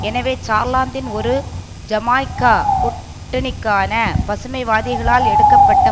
எனவே சார்லாந்தின் ஒரு ஜமாய்க்கா கூட்டணிக்கான பசுமைவாதிகளால் எடுக்க பட்ட